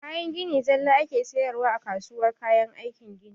Kayan gini zalla ake sayarwa a kasuwar kayan aikin gini